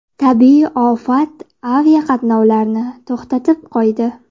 Tabiiy ofat aviaqatnovlarni to‘xtatib qo‘ydi.